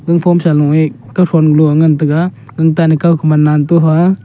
ganphon sa lung e kaw lu ngan tega gan tan e kaw --